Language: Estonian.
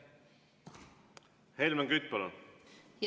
Helmen Kütt, palun!